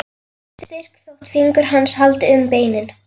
Hún er styrk þótt fingur hans haldi um beinin.